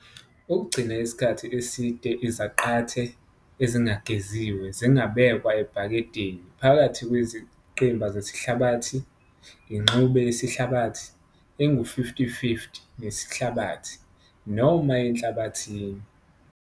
Ukugcina isikhathi eside, izaqathe ezingageziwe zingabekwa ebhakedeni phakathi kwezingqimba zesihlabathi, ingxube yesihlabathi engu-50 - 50 nesihlabathi, noma enhlabathini.